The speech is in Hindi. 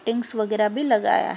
टिंग्स वगेरा भी लगाया --